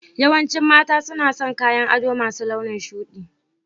Yawancin mata suna son kayan ado masu launin shuɗi